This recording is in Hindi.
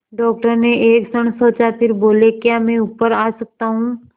डॉक्टर ने एक क्षण सोचा फिर बोले क्या मैं ऊपर आ सकता हूँ